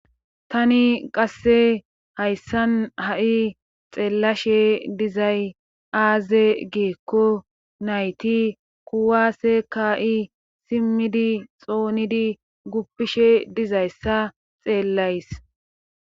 tani qasse hayssan ha7i xeellashe dizay aaze geekko nayti kuwaase ka7i simmidi xoonidi guppishe dizayssa xeellays